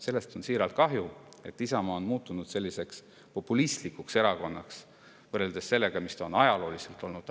Sellest on siiralt kahju, et Isamaa on muutunud selliseks populistlikuks erakonnaks võrreldes sellega, mis ta on ajalooliselt olnud.